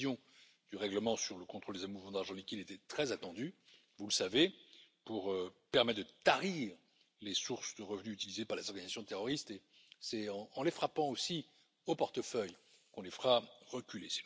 La révision du règlement sur le contrôle des mouvements d'argent liquide était très attendu, vous le savez, pour permettre de tarir les sources de revenus utilisées par les organisations terroristes, et c'est en les frappant aussi au portefeuille qu'on les fera reculer.